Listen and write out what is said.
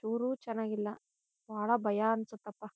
ಚೂರೂ ಚೆನ್ನಾಗಿಲ್ಲ. ಬಹಳ ಭಯ ಅನ್ಸತ್ತಪ್ಪ.--